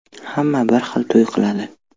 Hamma bir xil to‘y qiladi.